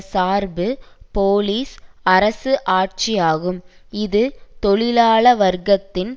சார்பு போலீஸ் அரசு ஆட்சியாகும் இது தொழிலாள வர்க்கத்தின்